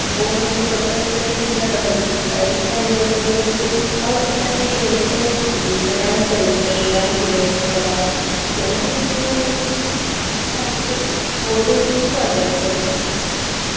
ಓದಿನಲ್ಲಿ ಸ್ವಲ್ಪ interest ಇಲ್ಲದವರಿಗೆ ಸ ಇದ್ರಲ್ಲಿ ಅವ್ರಿಗೆ ಒಂದು ಅವರದ್ದ್ ಪ್ರತಿಭೆಯನ್ನು ತೋರಿಸ್ಬೋದು ಈಗ dance ಅಲ್ಲಿ ಇದ್ದವರು dance ಗೋಸ್ಕರ ಓದುವುದು actually ಓದುವುದು important .